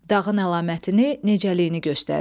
Dağın əlamətini, necəliyini göstərir.